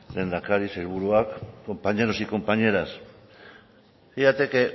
lehendakari sailburuak compañeros y compañeras fíjate que